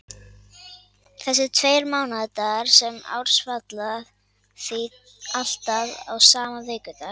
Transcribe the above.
Þessir tveir mánaðardagar sama árs falla því alltaf á sama vikudag.